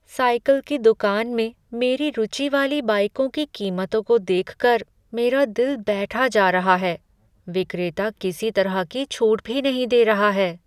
Cycle की दुकान में मेरी रुचि वाली बाइकों की कीमतों को देख कर मेरा दिल बैठा जा रहा है। विक्रेता किसी तरह की छूट भी नहीं दे रहा है।